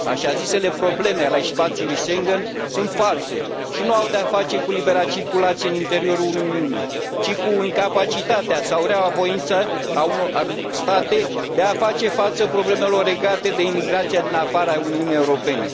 Așa zisele probleme ale spațiului Schengen sunt false și nu au de a face cu libera circulație în interiorul Uniunii, ci cu incapacitatea sau reaua voință a unor state de a face față problemelor legate de imigrația din afara Uniunii Europene.